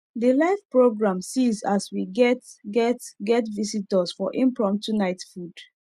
the live program seize as we get get get visitors for impromptu night food